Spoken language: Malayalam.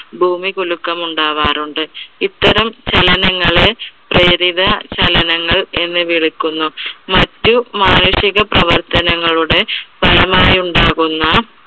ഭൂമികുലുക്കം ഉണ്ടാവാറുണ്ട്. ഇത്തരം ചലനങ്ങളെ പ്രേരിത ചലനങ്ങൾ എന്ന് വിളിക്കുന്നു. മറ്റു മാനുഷിക പ്രവർത്തനങ്ങളുടെ ഫലമായി ഉണ്ടാകുന്ന